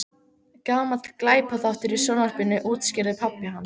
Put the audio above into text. Gamall glæpaþáttur í sjónvarpinu- útskýrði pabbi hans.